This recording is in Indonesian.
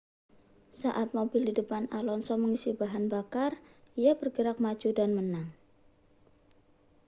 saat mobil di depan alonso mengisi bahan bakar ia bergerak maju dan menang